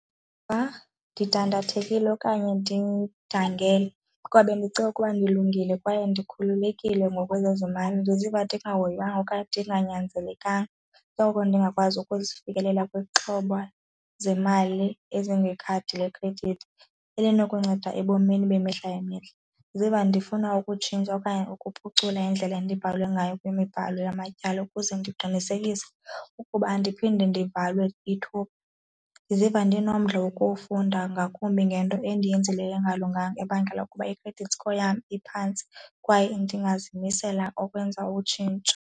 ndidandathekile okanye ndidangele kuba bendicinga ukuba ndilungile kwaye ndikhululekile ngokwezezimali. Ndizoziva ndingahoywanga okanye ndinganyanzelekanga koko ndingakwazi ukufikelela kwixhoba zemali ezingekhadi lekhredithi elinokunceda ebomini bemihla ngemihla. Ndiziva ndifuna ukutshintsha okanye ukuphucula indlela endibhalwe ngayo kwimibhalo yamatyala ukuze ndiqinisekise ukuba andiphinde ndivalwe ithuba. Ndiziva ndinomdla wokufunda ngakumbi ngento endiyenzileyo engalunganga ebangela ukuba i-credit score yam iphantsi kwaye ndingazimisela ukwenza utshintsho.